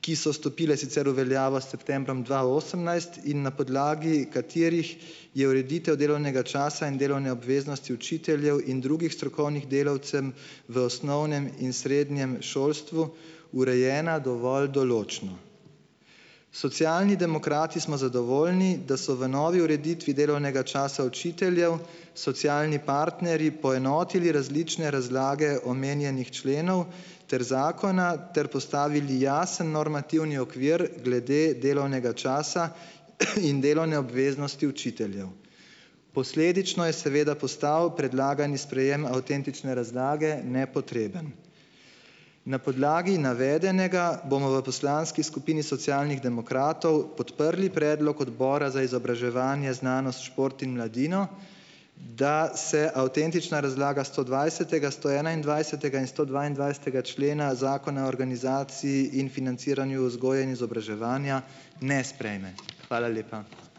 ki so stopile sicer v veljavo s septembrom dva osemnajst in na podlagi katerih je ureditev delovnega časa in delovne obveznosti učiteljev in drugih strokovnih delavcem v osnovnem in srednjem šolstvu urejena dovolj določno. Socialni demokrati smo zadovoljni, da so v novi ureditvi delovnega časa učiteljev socialni partnerji poenotili različne razlage omenjenih členov ter zakona ter postavili jasen normativni okvir glede delovnega časa, in delovne obveznosti učiteljev. Posledično je seveda postal predlagani sprejem avtentične razlage nepotreben. Na podlagi navedenega bomo v poslanski skupini Socialnih demokratov podprli predlog Odbora za izobraževanje, znanost, šport in mladino, da se avtentična razlaga stodvajsetega, stoenaindvajsetega in stodvaindvajsetega člena Zakona o organizaciji in financiranju vzgoje in izobraževanja ne sprejme. Hvala lepa.